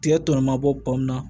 Tigɛ tɔ mabɔ pɔnw na